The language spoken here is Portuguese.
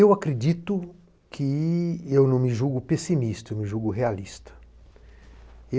Eu acredito que... Eu não me julgo pessimista, eu me julgo realista.